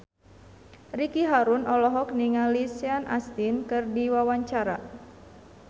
Ricky Harun olohok ningali Sean Astin keur diwawancara